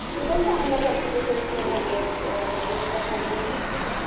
ती पण चांगलं करते फेशिअल वगैरे मेकअप वगैरे घेते ती.